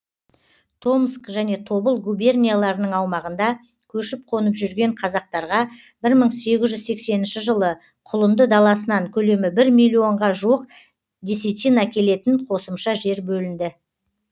томск және тобыл губернияларының аумағында көшіп қонып жүрген қазақтарға бір мың сегіз жүз сексенінші жылы құлынды даласынан көлемі бір миллионға жуық десятина келетін қосымша жер бөлінді